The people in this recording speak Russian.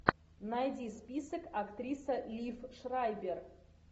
найди список актриса лив шрайбер